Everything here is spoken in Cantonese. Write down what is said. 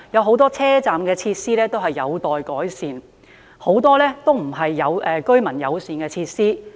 很多車站設施仍然有待改善，很多也不是居民友善的設施。